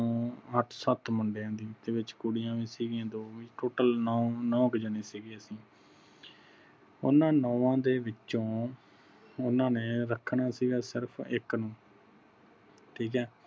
ਨੂੰ ਅੱਠ ਸੱਤ ਮੁੰਡਿਆਂ ਦੀ ਤੇ ਵਿਚ ਕੁੜੀਆਂ ਵੀ ਸੀ ਗਿਆਂ ਦੋ total ਨੋ ਨੋ ਕਿ ਜਾਣੇ ਸੀਗੇ ਅਸੀਂ। ਓਹਨਾ ਨੋਵਾ ਦੇ ਵਿੱਚੋ ਓਹਨਾ ਨੇ ਰੱਖਣਾ ਸੀਗਾ ਸਿਰਫ ਇਕ ਨੂੰ ਠੀਕ ਆ।